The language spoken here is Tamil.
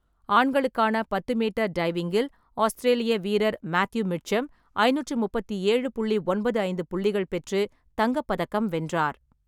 ஆண்களுக்கான பத்து மீட்டர் டைவிங்கில் ஆஸ்திரேலிய வீரர் மேத்யூ மிட்சம் ஐநூற்றி முப்பத்தி ஏழு புள்ளி ஒன்பது ஐந்து புள்ளிகள் பெற்று தங்கப்பதக்கம் வென்றார்.